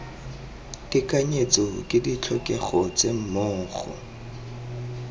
tekanyetso ke ditlhokego tse mmogo